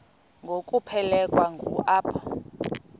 ngokuphelekwa ngu apho